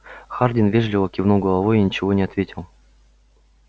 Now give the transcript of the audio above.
хардин вежливо кивнул головой и ничего не ответил